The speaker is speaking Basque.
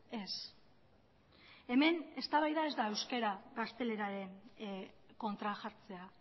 ez hemen eztabaida ez da euskara gazteleraren kontra jartzea